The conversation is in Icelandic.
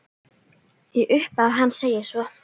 Í upphafi hans segir svo